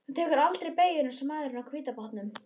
Þú tekur aldrei beygjur eins og maðurinn á hvíta bátnum.